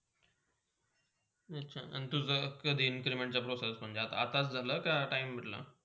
आणि तुझा कधी increment process झाला महण्जे आताच झाला का time भेटला.